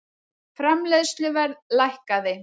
Framleiðsluverð lækkaði